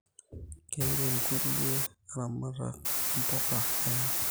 Keirem kulie laramak imbuka eyang